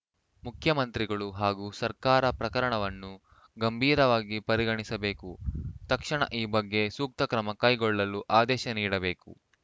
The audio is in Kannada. ಮುಖ್ಯಮಂತ್ರಿಗಳು ಹಾಗೂ ಸರ್ಕಾರ ಪ್ರಕರಣವನ್ನು ಗಂಭೀರವಾಗಿ ಪರಿಗಣಿಸಬೇಕು ತಕ್ಷಣ ಈ ಬಗ್ಗೆ ಸೂಕ್ತ ಕ್ರಮ ಕೈಗೊಳ್ಳಲು ಆದೇಶ ನೀಡಬೇಕು